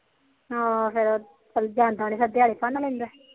ਹਾ ਫਿਰ